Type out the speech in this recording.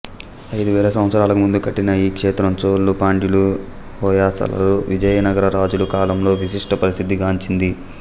ఐదు వేల సంవత్సరాలకు ముందు కట్టిన ఈక్షేత్రం చోళుల పాండ్యుల హోయసలల విజయనగర రాజుల కాలంలో విశిష్ట ప్రసిద్ధి గాంచింది